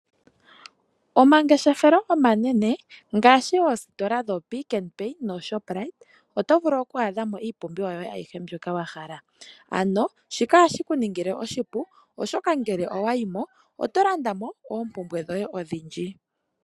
Omangeshefelo omanene ngaashii oositola dho Pick n Pay noShoprite oto vulu oku adhako iipumbiwa yoye ayihe wahala. Ano shika ohashi kuningile oshipu oshoka ngele owayimo oto landamo oompumbwe dhoye adhindji.